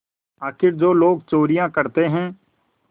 आखिर जो लोग चोरियॉँ करते हैं